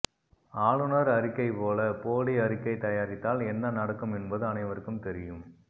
ஆளுனர் அறிக்கை போல போலி அறிக்கை தயாரித்தால் என்ன நடக்கும் என்பது அனைவருக்கும் தெரியும்